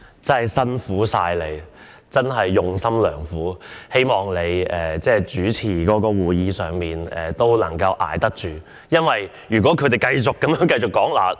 真的辛苦你了，真是用心良苦，希望你主持會議也能夠支撐得住，因為如果他們繼續發言......